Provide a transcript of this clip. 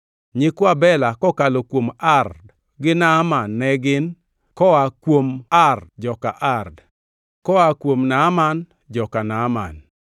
Nyikwa Bela kokalo kuom Ard gi Naaman ne gin: koa kuo Ard, joka Ard; koa kuom Naaman, joka Naaman.